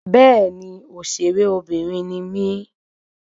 Béèni òṣèré Obìnrin ni mí